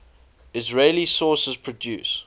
israeli sources produce